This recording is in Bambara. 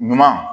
Ɲuman